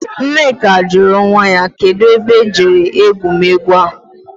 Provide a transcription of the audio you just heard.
Nneka juru nwa ya. Kedu ebe e jere egwumegwu ahu?